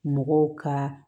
Mɔgɔw ka